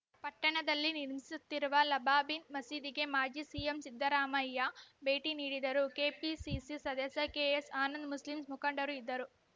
ಪಟ್ಟಣದದಲ್ಲಿ ನಿರ್ಮಿಸುತ್ತಿರುವ ಲಬಾಬಿನ್‌ ಮಸೀದಿಗೆ ಮಾಜಿ ಸಿಎಂ ಸಿದ್ದರಾಮಯ್ಯ ಭೇಟಿ ನೀಡಿದರು ಕೆಪಿಸಿಸಿ ಸದಸ್ಯ ಕೆಎಸ್‌ ಆನಂದ್‌ ಮುಸ್ಲಿಂಸ್ ಮುಖಂಡರು ಇದ್ದರು